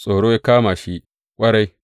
Tsoro ya kama shi ƙwarai.